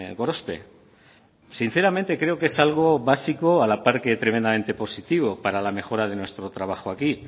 gorospe sinceramente creo que es algo básico a la par que tremendamente positivo para la mejora de nuestro trabajo aquí